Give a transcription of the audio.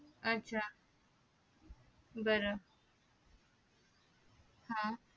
आच्छा बर हा